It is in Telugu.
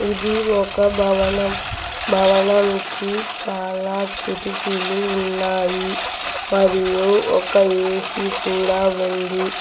ఇది ఒక భవనం భవనం కి చాలా కిటికీలు ఉన్నాయి మరియు ఒక ఏసీ కూడా ఉంది.